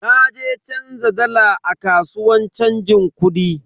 Na je canza dala a kasuwan chanjin kudi.